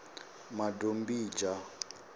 madombidzha